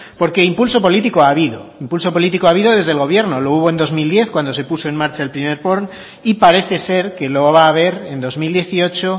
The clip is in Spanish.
porque impulso político ha habido impulso político ha habido desde el gobierno lo hubo en dos mil diez cuando se puso en marcha el primer porn y parece ser que lo va a haber en dos mil dieciocho